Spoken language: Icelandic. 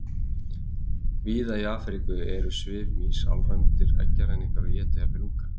Víða í Afríku eru svefnmýs alræmdir eggjaræningjar og éta jafnvel unga.